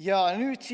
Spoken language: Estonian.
Ja nüüd